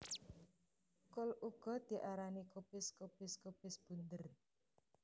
Kul uga diarani kubis kobis kobis bunder